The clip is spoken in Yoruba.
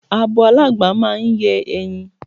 Abo aláǹgbá máa ń yé e̩yin.